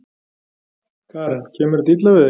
Karen: Kemur þetta illa við þig?